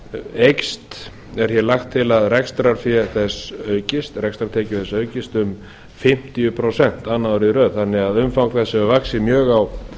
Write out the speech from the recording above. eykst er hér lagt til að rekstrartekjur þess aukist um fimmtíu prósent annað árið í röð þannig að umfang þess hefur vaxið mjög á